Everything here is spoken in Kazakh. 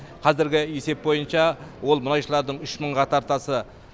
қазіргі есеп бойынша ол мұнайшылардың үш мыңға тартасы